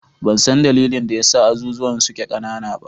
Ban san dalilin da ya sa azuzuwan suke ƙanana ba.